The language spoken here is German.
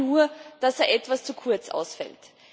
Schade nur, dass er etwas zu kurz ausfällt.